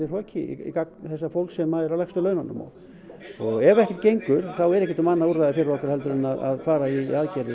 hroki gagnvart þessu fólki sem er á lægstu laununum og ef ekkert gengur þá er ekkert annað úrræði fyrir okkur en að fara í aðgerðir